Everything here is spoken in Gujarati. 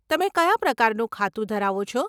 તમે કયા પ્રકારનું ખાતું ધરાવો છો?